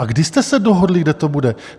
A kdy jste se dohodli, kde to bude?